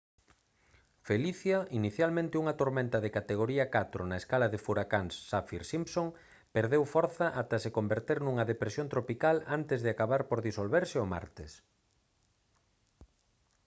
felicia inicialmente unha tormenta de categoría 4 na escala de furacáns saffir-simpson perdeu forza ata se converter nunha depresión tropical antes de acabar por disolverse o martes